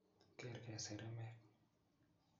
kerke seremek